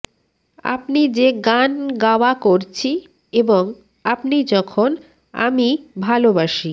আপনি যে গান গাওয়া করছি এবং আপনি যখন আমি ভালোবাসি